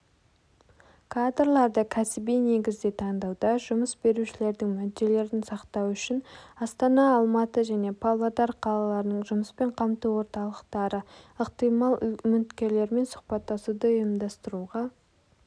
кадрларды кәсіби негізде таңдауда жұмыс берушілердің мүдделерін сақтау үшін астана алматы және павлодар қалаларының жұмыспен қамту орталықтары ықтимал үміткерлермен сұхбаттасуды ұйымдастыруға